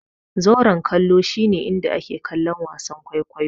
Zauren kallo shi ne inda ake kallon wasan kwaikwayo.